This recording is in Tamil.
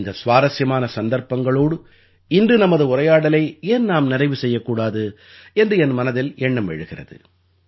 இந்த சுவாரசியமான சந்தர்ப்பங்களோடு இன்று நமது உரையாடலை ஏன் நாம் நிறைவு செய்யக்கூடாது என்று எனது மனதில் எண்ணம் எழுகிறது